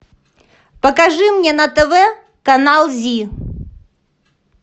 покажи мне на тв канал зи